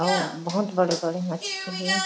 अउ बहोत बड़े-बड़े मछली हें।